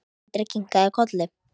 Andri kinkaði kolli.